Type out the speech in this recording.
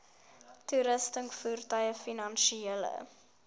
toerusting voertuie finansiële